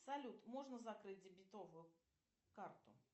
салют можно закрыть дебетовую карту